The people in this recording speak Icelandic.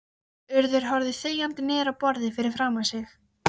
Urður horfði þegjandi niður á borðið fyrir framan sig.